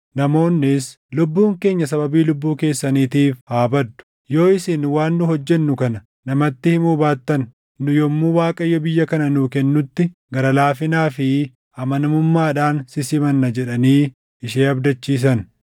Namoonnis, “Lubbuun keenya sababii lubbuu keessaniitiif haa badduu! Yoo isin waan nu hojjennu kana namatti himuu baattan nu yommuu Waaqayyo biyya kana nuu kennutti gara laafinaa fi amanamummaadhaan si simanna” jedhanii ishee abdachiisan.